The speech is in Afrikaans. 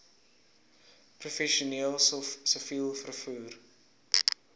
professioneel siviel vervoer